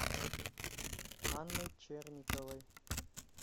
анной черниковой